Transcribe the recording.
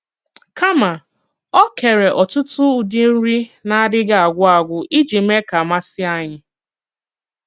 Kàmà, o kèrè ọ̀tùtù ụdị nri na-àdịghị̀ àgwù àgwù iji mèè ka masì ànyị̀.